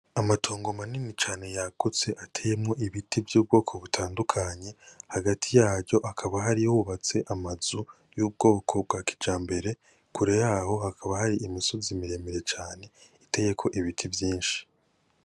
Amatongo manini cane yagutse ateyemwo ibiti vy'ubwoko butandukanye hagati yaryo hakaba hari hubatse amazu y'ubwoko bwa kijambere kure yaho hakaba hari imisozi miremire cane iteyeko ibiti byishi